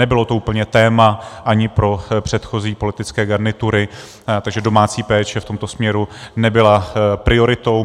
Nebylo to úplně téma ani pro předchozí politické garnitury, takže domácí péče v tomto směru nebyla prioritou.